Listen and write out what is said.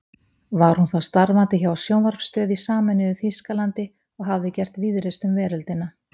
Var hún þá starfandi hjá sjónvarpsstöð í sameinuðu Þýskalandi og hafði gert víðreist um veröldina.